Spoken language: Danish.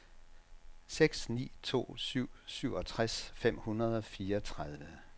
seks ni to syv syvogtres fem hundrede og fireogtredive